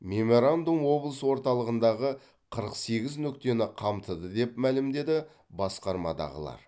меморандум облыс орталығындағы қырық сегіз нүктені қамтыды деп мәлімдеді басқармадағылар